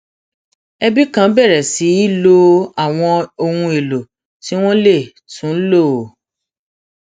ẹbi kan bèrè sí lo àwọn ohun èlò tí wón lè tún lò